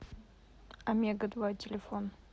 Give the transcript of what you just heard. омега два телефон